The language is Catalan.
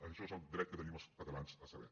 això és el dret que tenim els catalans a saber